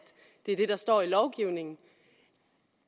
det er det der står i lovgivningen